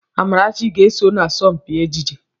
Amarachi ga-eso na asọmpi ejije.